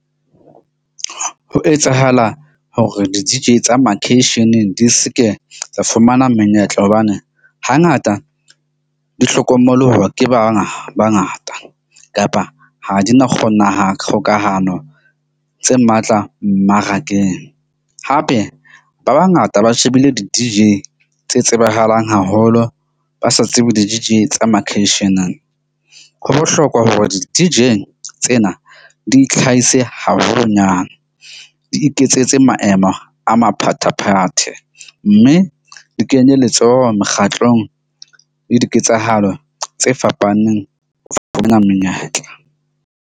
Ho etsahala hore di-D_J tsa makeisheneng, di ske tsa fumana menyetla hobane hangata di hlokomoloha ke ba ngata kapa tse matla mmarakeng hape, ba bangata ba shebile di-D_J tse tsebahalang haholo, ba sa tsebe di-D_J tsa makeisheneng. Ho bohlokwa hore di-D_J tsena di itlhahise haholonyana, di iketsetse maemo a maphathephathe. Mme di kenye letsoho mekgatlong le diketsahalo tse fapaneng ho fumana menyetla.